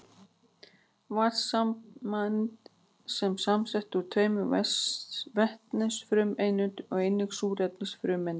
Vatnssameind eru samsett úr tveimur vetnisfrumeindum og einni súrefnisfrumeind.